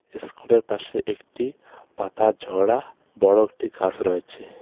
ইস্কুলের পাশে একটি পাতা ঝরা বড় একটি গাছ রয়েছে.